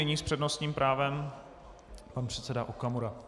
Nyní s přednostním právem pan předseda Okamura.